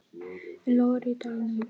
Enn logar í dalnum.